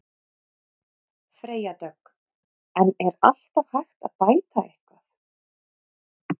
Freyja Dögg: En er alltaf hægt að bæta eitthvað?